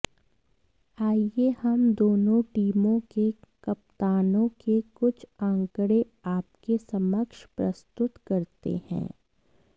आइये हम दोनों टीमों के कप्तानों के कुछ आंकड़े आपके समक्ष प्रस्तुत करते हैं